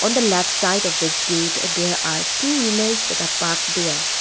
and the left side of this gate there are two wheelers that the park there.